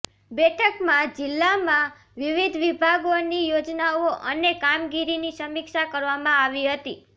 બેઠકમાં જિલ્લામાં વિવિધ વિભાગોની યોજનાઓ અને કામગીરીની સમીક્ષા કરવામાં આવી હતી